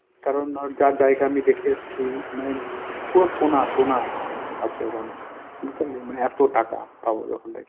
কারণ যা জায়গা আমি দেখে এসছি মানে পুরো সোনা সোনা আছে ওখানে। বুঝতে পারলি মানে এত টাকা! ওখান থেকে